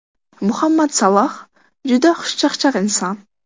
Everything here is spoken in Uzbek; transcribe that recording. Muhammad Saloh – juda xushchaqchaq inson.